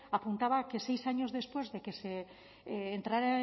apuntaba que seis años después de que entrara